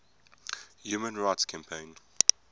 human rights campaign